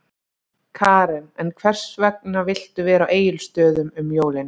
Karen: En hvers vegna viltu vera á Egilsstöðum um jólin?